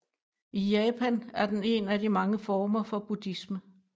I Japan er den en af de mange former for buddhisme